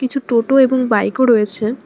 কিছু টোটো এবং বাইকও রয়েছে।